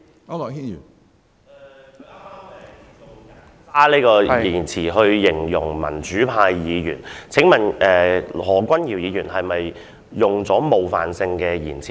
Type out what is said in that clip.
主席，他剛才以"人渣"一詞形容民主派議員，請問何君堯議員是否用了冒犯性的言詞？